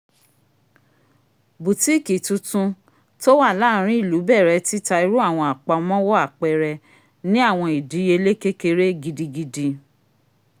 butikii tuntun t'owa laarin ilu bẹrẹ tita iru awọn apamọwọ apẹẹrẹ ni awọn idiyele kékeré gidigidi